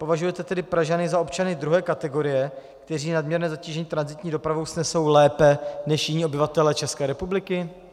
Považujete tedy Pražany za občany druhé kategorie, kteří nadměrné zatížení tranzitní dopravou snesou lépe než jiní obyvatelé České republiky?